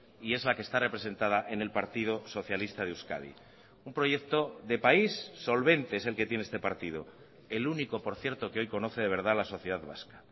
y es la que está representada en el partido socialista de euskadi un proyecto de país solvente es el que tiene este partido el único por cierto que hoy conoce de verdad la sociedad vasca